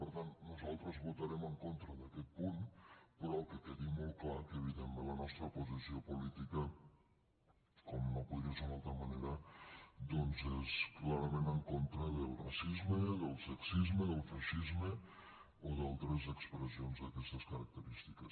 per tant nosaltres votarem en contra d’aquest punt però que quedi molt clar que evidentment la nostra posició política com no podria ser d’una altra manera doncs és clarament en contra del racisme del sexisme del feixisme o d’altres expressions d’aquestes característiques